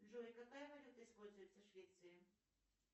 джой какая валюта используется в швеции